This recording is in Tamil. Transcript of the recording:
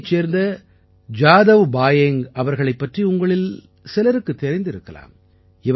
அசாமைச் சேர்ந்த ஜாதவ் பாயேங்க் அவர்களைப் பற்றி உங்களில் சிலருக்குத் தெரிந்திருக்கலாம்